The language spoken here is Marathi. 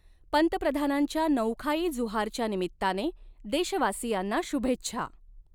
पंतप्रधानांच्या नऊखाई जुहारच्या निमित्ताने देशवासियांना शुभेच्छा